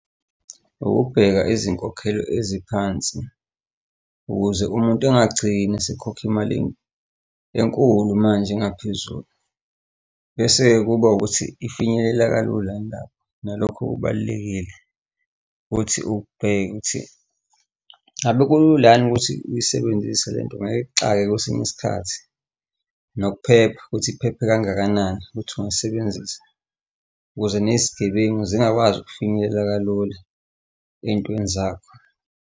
Ukubheka izinkokhelo eziphansi ukuze umuntu angagcini esekhokha imali enkulu manje engaphezulu. Bese-ke kuba ukuthi ifinyeleleka kalula yini lapho? Nalokhu kubalulekile. Futhi ubheke ukuthi ngabe kula yini ukuthi uyisebenzise lento ngeke ikuxake kwesinye isikhathi nokuphepha ukuthi iphephe kangakanani ukuthi ungayisebenzisa, ukuze nezigebengu zingakwazi ukufinyelela kalula ey'ntweni zakho.